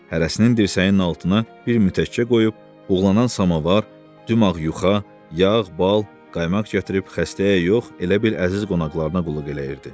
Hərəsini dirsəyinin altına bir mütəkkə qoyub, buğlanan samavar, dumağ yuxa, yağ, bal, qaymaq gətirib xəstəyə yox, elə bil əziz qonaqlarına qulluq eləyirdi.